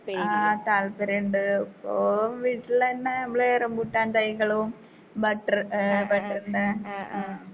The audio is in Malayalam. ആ താൽപ്പര്യണ്ട് ഇപ്പൊ വീട്ടിലന്നെ നമ്മള് റംബൂട്ടാൻ തൈകളും ബട്ടർ ഏ ബട്ടർന്റെ ആ.